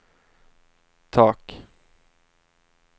tak